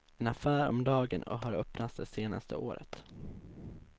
En affär om dagen har öppnats det senaste året.